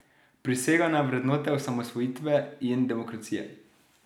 Prisega na vrednote osamosvojitve in demokracije.